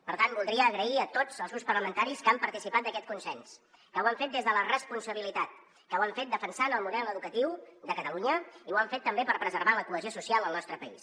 per tant voldria agrair a tots els grups parlamentaris que han participat en aquest consens que ho han fet des de la responsabilitat que ho han fet defensant el model educatiu de catalunya i ho han fet també per preservar la cohesió social al nostre país